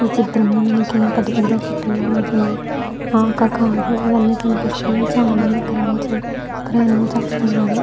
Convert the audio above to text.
ఈ చిత్రం లో మనకి పెద్ద పెద్ద చెట్ల మద్యన ఆ ఒక కార్ అన్నీ కనిపిస్తున్నాయి చాలా మంది కనిపించి ప్రయాణం చేస్తున్నారు.